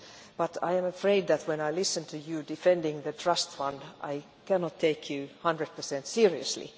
But I am afraid that when I listen to you defending the Trust Fund I cannot take you 100 seriously.